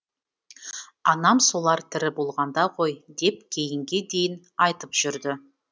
анам солар тірі болғанда ғой деп кейінге дейін айтып жүрді